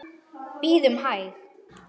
Bíðum hæg.